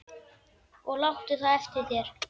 Og láttu það eftir þér.